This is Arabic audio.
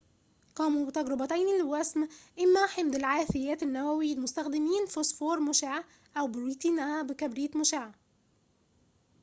قاموا بتجربتين لوسم إما حمض العاثيات النووي مستخدمين فوسفور مشع أو بروتينها بكبريت مشع